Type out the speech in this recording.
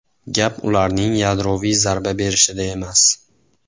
Gap ularning yadroviy zarba berishida emas.